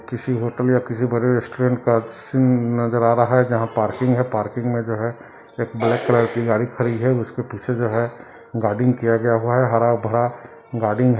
किसी होटल या किसी बड़े रेस्टोरेंट का सीन नज़र आ रहा है जहा पार्किंग है पार्किंग में जो है एक ब्लैक कलर की गाड़ी खड़ी है उसके पीछे जो है गार्डनिंग किया गया हुआ है हार-भरा गार्डनिंग है।